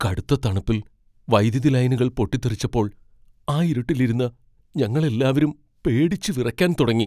കടുത്ത തണുപ്പിൽ വൈദ്യുതി ലൈനുകൾ പൊട്ടിത്തെറിച്ചപ്പോൾ ആ ഇരുട്ടിൽ ഇരുന്ന് ഞങ്ങൾ എല്ലാവരും പേടിച്ച് വിറയ്ക്കാൻ തുടങ്ങി.